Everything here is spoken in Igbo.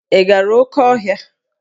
Ị gara oké ọhịa?